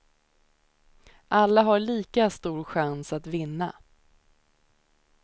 Alla har lika stor chans att vinna.